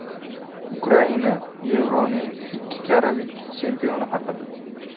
Ukraina: Yevroning ikki karra vitse-chempioni haqida.